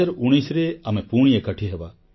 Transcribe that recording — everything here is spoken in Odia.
2019ରେ ଆମେ ପୁଣି ଏକାଠି ହେବା